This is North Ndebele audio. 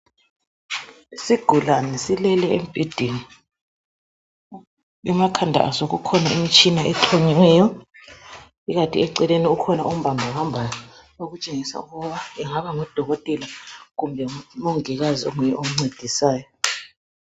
Isigulane silele embhedeni emakhanda aso kukhona imitshina exhunyiweyo, kukanti eceleni kukhona ombamba bambayo okutshengisa ukuba angaba ngudokotela kumbe umongikazi onguye omncedisayo.